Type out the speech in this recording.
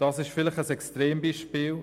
Das ist vielleicht ein Extrembeispiel.